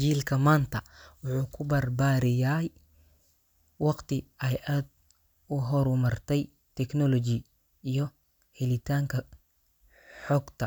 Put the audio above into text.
Jiilka maanta wuxuu ku barbaariyay waqti ay aad u horumartay technology iyo helitaanka xogta.